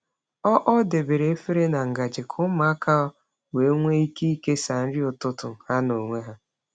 Ọ Ọ debere efere na ngaji ka ụmụaka wee nwee ike ikesa nri ụtụtụ ha n’onwe ha.